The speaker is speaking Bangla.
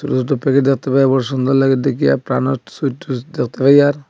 বহুত প্যাকেট দেখতে পাই আর বড়ো সুন্দর লাগে দেখিয়া প্রাণের সুইট টোস্ট দেখতে পাই আর।